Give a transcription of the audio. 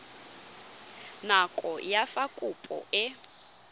nako ya fa kopo e